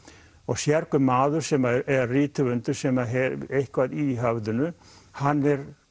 sérhver maður sem er rithöfundur sem hefur eitthvað í höfðinu hann